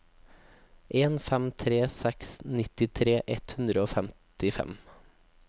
en fem tre seks nittitre ett hundre og femtifem